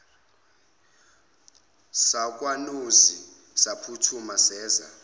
sakwanozi saphuthuma seza